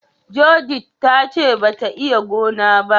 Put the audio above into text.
" Judith" ta ce ba ta iya gona ba.